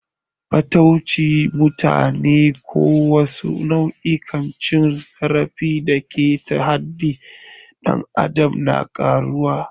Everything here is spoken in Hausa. Fataucin mutane ko wasu nau'ikan cin zarafi da ke keta haƙƙin ɗan adam na karuwa.